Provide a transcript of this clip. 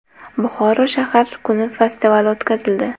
Buxoroda shahar kuni festivali o‘tkazildi .